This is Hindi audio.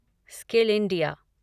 skill India